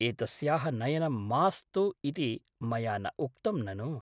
एतस्याः नयनं मास्तु इति मया न उक्तं ननु ?